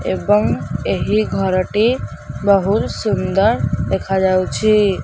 ଏବଂ ଏହି ଘରଟି ବହୁତ୍ ସୁନ୍ଦର୍ ଦେଖାଯାଉଛି।